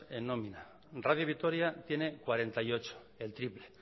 en nómina radio vitoria tiene cuarenta y ocho el triple